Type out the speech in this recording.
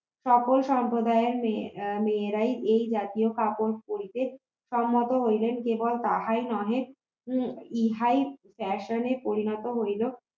সকল সম্প্রদায়ের মেয়ে মেয়েরাই এই জাতীয় কাপড় পরীতে সম্মত হইলেন কেবল তাহাই নহে উম ইহাই fashion পরিণত হইল